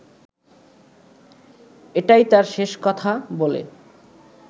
এটাই তার শেষ কথা বলে